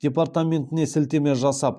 департаментіне сілтеме жасап